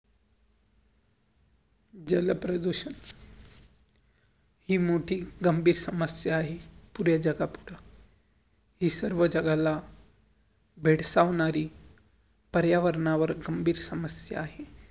जलप्रदूषण हि मोठी गंभीर समस्या आहे, पुर्या जगत अता. हि सर्व जगाला धडसवनारी पर्यावर्नावर गंभीर समस्या आहे.